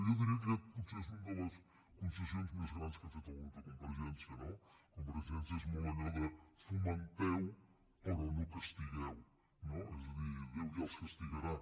jo diria que aquesta és una de les concessions més grans que ha fet el grup de convergència no convergència és molt allò de fomenteu però no castigueu no és a dir déu ja els castigarà